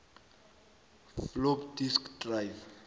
floppy disk drive